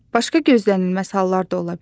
Başqa gözlənilməz hallar da ola bilər.